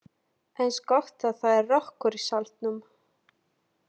Eins gott að það er rökkur í salnum.